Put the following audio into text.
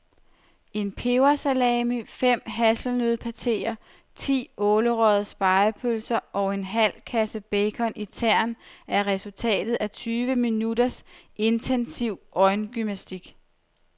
En pebersalami, fem hasselnøddepateer, ti ålerøgede spegepølser og en halv kasse bacon i tern er resultatet af tyve minutters intensiv øjengymnastik.